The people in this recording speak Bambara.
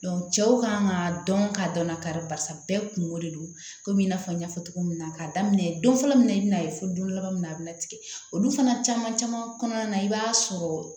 cɛw kan ka dɔn k'a dɔn na kari barisa bɛɛ kungo de don komi i n'a fɔ n y'a fɔ cogo min na k'a daminɛ don fɔlɔ min na i bi na ye fo don laban min na a bɛna tigɛ olu fana caman caman kɔnɔna na i b'a sɔrɔ